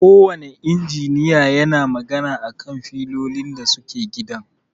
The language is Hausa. Ko wanne injiniya yana magana a kan filolin da suke gidan.